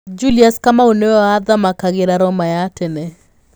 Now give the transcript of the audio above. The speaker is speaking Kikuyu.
Julius Kamau nĩwe wathamakagĩra Roma ya tene.